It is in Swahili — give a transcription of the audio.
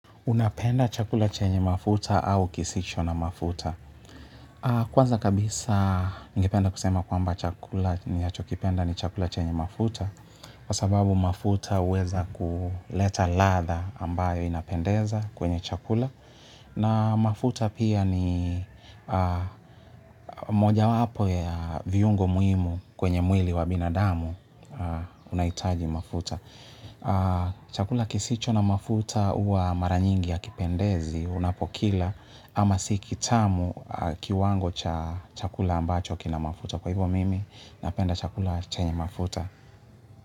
Unapenda chakula chenye mafuta au kisicho na mafuta? Kwanza kabisa ningependa kusema kwamba chakula ninachokipenda ni chakula chenye mafuta kwa sababu mafuta huweza kuleta ladha ambayo inapendeza kwenye chakula na mafuta pia ni mojawapo ya viungo muimu kwenye mwili wa binadamu unaitaji mafuta. Chakula kisicho na mafuta huwa maranyingi ya hakipendezi. Unapokila ama si kitamu kiwango cha chakula ambacho kina mafuta. Kwa hivyo mimi napenda chakula chenye mafuta.